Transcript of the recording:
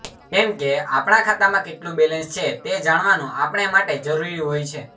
કેમ કે આપણાં ખાતામાં કેટલું બેલેન્સ છે તે જાણવાનું આપણે માટે જરૂરી હોય છે